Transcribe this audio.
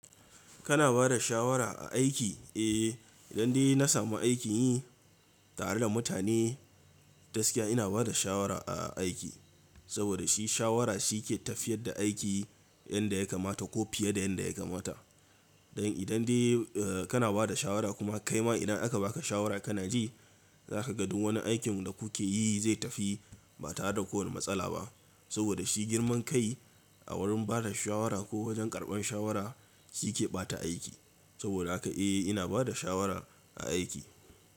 Kana bada shawara a aiki? Eh, idan dai na samu aiki yi tare da mutane, gaskiya ina bada shawara a aiki. Saboda shi shawara shi ke tafiyar da aiki, yanda ya kamata ko fiye da yanda ya kamata. Don idan dai kana bada shawara kuma kaima idan aka baka shawara kana ji, zaka ga duk wani aikin da kuke yi zai tafi ba tare da kowane matsala ba. Saboda shi girman kai a wurin bada shawara ko wajen karɓan shawara shi yake ɓata aiki. Saboda haka eh ina bada shawara a aiki.